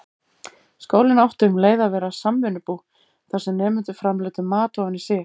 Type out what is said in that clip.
Skólinn átti um leið að vera samvinnubú, þar sem nemendur framleiddu mat ofan í sig.